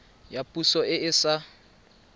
ya poso e e sa